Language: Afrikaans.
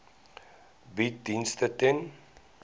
bied dienste ten